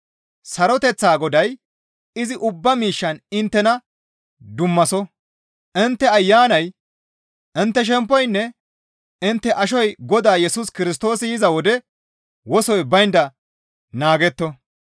Saroteththa Goday izi ubba miishshan inttena dummaso; intte ayanay, intte shemppoynne intte ashoy Godaa Yesus Kirstoosi yiza wode wosoy baynda naagetto.